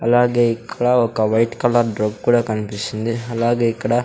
అలాగే ఇక్కడ ఒక వైట్ కలర్ కూడా కన్పిస్తుంది అలాగే ఇక్కడ--